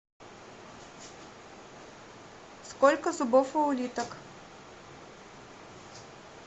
сколько зубов у улиток